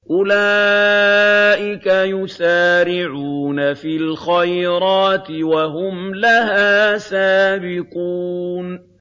أُولَٰئِكَ يُسَارِعُونَ فِي الْخَيْرَاتِ وَهُمْ لَهَا سَابِقُونَ